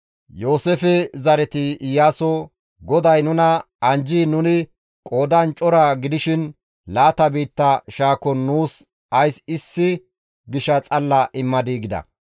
Yooseefe zareti Iyaaso, «GODAY nuna anjjiin nuni qoodan cora gidishin laata biitta shaakon nuus ays issi gisha xalla immadii?» gida.